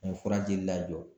O fura jeli lajɔ